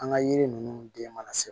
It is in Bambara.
An ka yiri ninnu den mana se